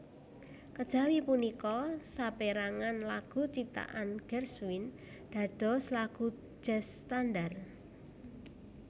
Kejawi punika saperangan lagu ciptaan Gershwin dados lagu jazz standar